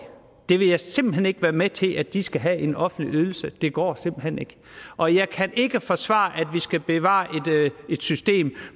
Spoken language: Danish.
det vil jeg simpelt hen ikke være med til at de skal have en offentlig ydelse det går simpelt hen ikke og jeg kan ikke forsvare at vi skal bevare et system